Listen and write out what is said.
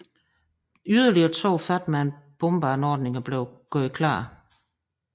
Yderligere to Fat Man bombeanordninger blev gjort klar